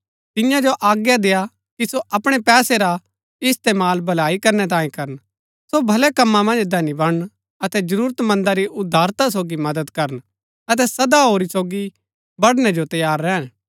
तिन्या जो आज्ञा देय्आ कि सो अपणै पैसै रा इस्तेमाल भलाई करनै तांये करन सो भलै कमां मन्ज धनी बणन अतै जरूरत मन्दा री उदारता सोगी मदद करन अतै सदा होरी सोगी बड़णै जो तैयार रैहन